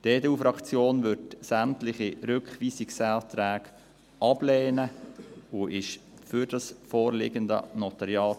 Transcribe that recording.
Die EDU-Fraktion wird sämtliche Rückweisungsanträge ablehnen und ist für das vorliegende NG.